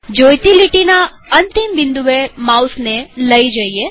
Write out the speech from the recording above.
જોઈતી લીટીના અંતિમ બિંદુએ માઉસને લઇ જઈએ